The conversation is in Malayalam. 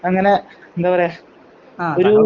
അങ്ങനെ എന്താ പറയാ ഒരു